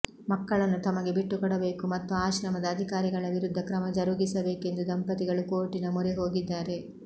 ಮಕ್ಕಳನ್ನು ತಮಗೆ ಬಿಟ್ಟುಕೊಡಬೇಕು ಮತ್ತು ಆಶ್ರಮದ ಅಧಿಕಾರಿಗಳ ವಿರುದ್ಧ ಕ್ರಮ ಜರಗಿಸಬೇಕೆಂದು ದಂಪತಿಗಳು ಕೋರ್ಟಿನ ಮೊರೆಹೋಗಿದ್ದಾರೆ